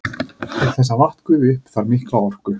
Til þess að vatn gufi upp þarf mikla orku.